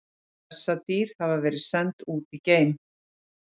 Bessadýr hafa verið send út í geim!